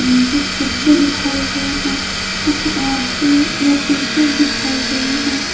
यहीं कुछ बच्चे दिखाए गए हैं कुछ औरतें या टीचर दिखाई गई हैं।